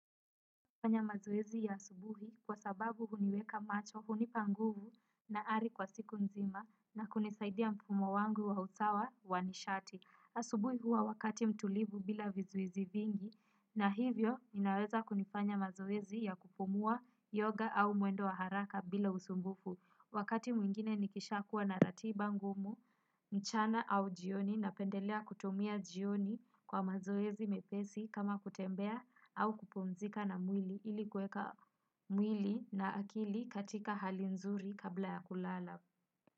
Kufanya mazoezi ya asubuhi kwa sababu huniweka macho, hunipa nguvu na ari kwa siku nzima na kunisaidia mfumo wangu wa usawa wa nishati. Asubuhi huwa wakati mtulivu bila vizuizi vingi na hivyo mi naweza kunifanya mazoezi ya kupumua yoga au mwendo wa haraka bila usumbufu. Wakati mwingine nikisha kuwa na ratiba ngumu, mchana au jioni na pendelea kutumia jioni kwa mazoezi mepesi kama kutembea au kupomzika na mwili ili kweka mwili na akili katika hali nzuri kabla ya kulala.